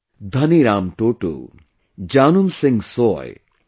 Dhani Ram Toto, Janum Singh Soy and B